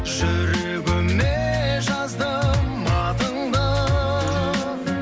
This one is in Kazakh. жүрегіме жаздым атыңды